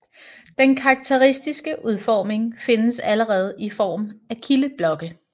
Den karakteristiske udformning findes allerede i form af kildeblokke